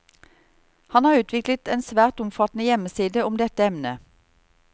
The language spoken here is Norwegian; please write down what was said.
Han har utviklet en svært omfattende hjemmeside om dette emnet.